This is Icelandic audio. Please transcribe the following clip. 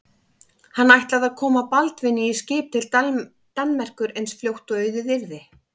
Hann ætlaði að koma Baldvini í skip til Danmerkur eins fljótt og auðið yrði.